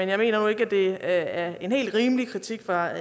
jeg mener nu ikke at det er en helt rimelig kritik der